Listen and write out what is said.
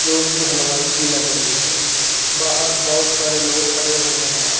जोकि हलवाई की लग रही है बाहर बहोत सारे लोग खड़े हुए है।